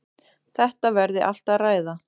Þetta verði allt að ræða.